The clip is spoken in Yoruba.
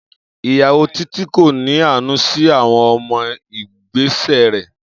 Iyawo Titi ko ni aanu si awọn ọmọ igbesẹ rẹ.